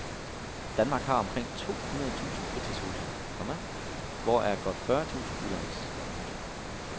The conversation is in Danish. Danmark har omkring to hundrede tusind fritidshuse, komma hvoraf godt fyrre tusind udlejes. punktum